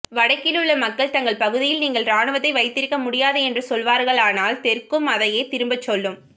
வடக்கிலுள்ள மக்கள் தங்கள் பகுதியில் நீங்கள் இராணுவத்தை வைத்திருக்க முடியாது என்று சொல்வார்களானால் தெற்கும் அதையே திரும்பச் சொல்லும